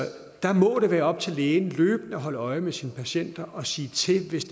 der må det være op til lægen løbende at holde øje med sine patienter og sige til hvis